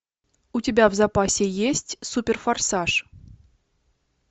у тебя в запасе есть суперфорсаж